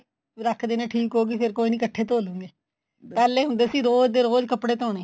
ਰੱਖ ਦਿੰਦੇ ਆ ਠੀਕ ਹੋ ਗਈ ਫੇਰ ਕੋਈ ਨੀ ਇੱਕਠੇ ਹੀ ਧੋ ਲਾਂਗੇ ਪਹਿਲਾਂ ਹੁੰਦੇ ਸੀ ਰੋਜ਼ ਦੀ ਰੋਜ਼ ਕੱਪੜੇ ਧੋਣੇ